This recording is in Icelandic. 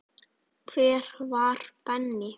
Hver var Benni?